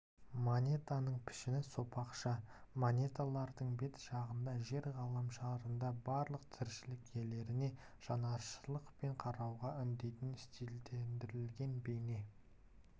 монетаның пішіні сопақша монеталардың бет жағында жер ғаламшарындағы барлық тіршілік иелеріне жанашырлықпен қарауға үндейтін стильдендірілген бейне